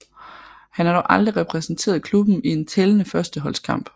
Han har dog aldrig repræsenteret klubben i en tællende førsteholdskamp